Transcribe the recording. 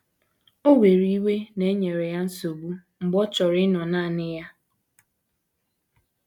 Ò were iwe na e nyere ya nsogbu mgbe ọ chọrọ ịnọrọ nanị ya?